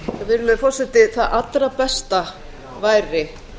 virðulegi forseti það allra besta væri